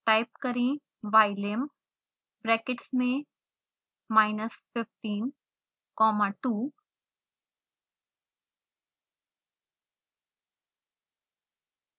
type करें ylim brackets में minus 15 comma 2